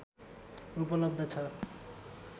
उपलब्ध छ